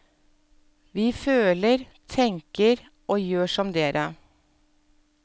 Vi føler, tenker og gjør som dere.